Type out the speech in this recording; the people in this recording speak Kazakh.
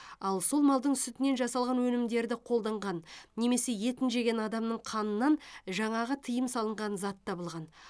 ал сол малдың сүтінен жасалған өнімдерді қолданған немесе етін жеген адамның қанынан жаңағы тыйым салынған зат табылған